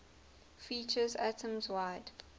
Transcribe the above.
features atoms wide